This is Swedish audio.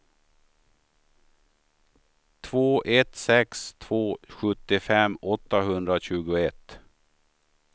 två ett sex två sjuttiofem åttahundratjugoett